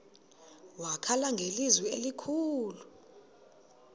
wakhala ngelizwi elikhulu